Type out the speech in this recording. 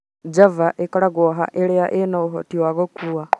Java ĩkoragwo haa irĩa ina ũhoti wa gũkuua